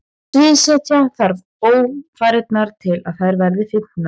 Sviðsetja þarf ófarirnar til að þær verði fyndnar.